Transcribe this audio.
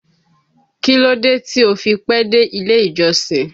Kí ló dé tí ó fi pẹ́ dé ilé ìjọsìn?